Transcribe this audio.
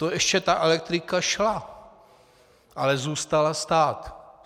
To ještě ta elektrika šla, ale zůstala stát.